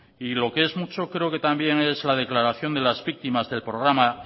y lo que es mucho creo que también es la declaración de las víctimas del programa